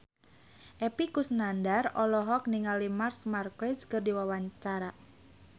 Epy Kusnandar olohok ningali Marc Marquez keur diwawancara